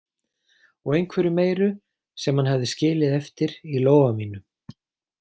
Og einhverju meiru, sem hann hafði skilið eftir í lófa mínum.